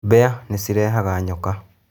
Mbĩa nĩ cirehaga nyoka